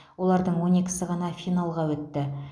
олардың он екісі ғана финалға өтті